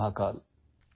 Jai Mahakal